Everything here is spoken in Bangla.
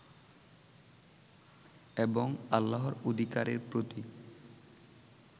এবং আল্লাহর অধিকারের প্রতি